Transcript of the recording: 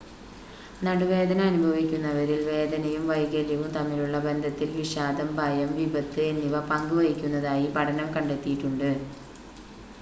നടുവേദന അനുഭവിക്കുന്നവരിൽ വേദനയും വൈകല്യവും തമ്മിലുള്ള ബന്ധത്തിൽ വിഷാദം ഭയം വിപത്ത് എന്നിവ പങ്ക് വഹിക്കുന്നതായി പഠനം കണ്ടെത്തിയിട്ടുണ്ട്